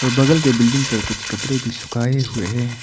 बगल के बिल्डिंग पे कुछ कपड़े भी सुखाए हुए हैं।